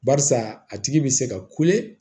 Barisa a tigi bɛ se ka